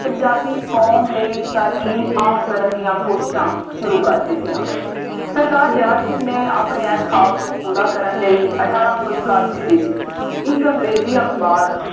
ਪੰਜਾਬੀ ਕੌਮ ਲਈ ਤਾਲੀਮ ਆਮ ਕਰਨ ਦੀਆਂ ਕੋਸ਼ਿਸ਼ਾਂ ਸ਼ੁਰੂ ਕਰ ਦਿੱਤੀਆ। ਸਰਦਾਰ ਦਿਆਲ ਸਿੰਘ ਨੇ ਆਪਣੇ ਆਹ ਖਾਅਬ ਨੂੰ ਪੂਰਾ ਕਰਨ ਲਈ ਅਠਾਰਾਂ ਸੌ ਇਕਾਸੀ ਵਿੱਚ ਇੱਕ ਅੰਗਰੇਜ਼ੀ ਅਖਬਾਰ